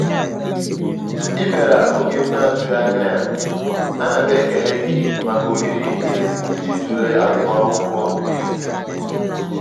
ị biara oge m na atughi anya yaanam ekele gi maka ohere a ịjị tụle agum akwụkwo n'efu